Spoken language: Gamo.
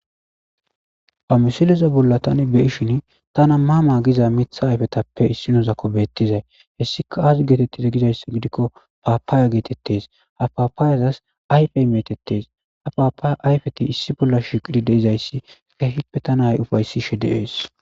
ha misileza bolla tani be7ishin tana maa maa giza mitha ayfetappe issinozakko beettizay hessika aazi geetettizee gizayssa gidikko paapaaya geetettes ha paapaayazas ayfey metettes ha paapaaya ayfeti issi bolla shiqidi de7izayssi kehippe tana ufayssishe de7ees